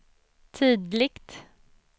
tydligt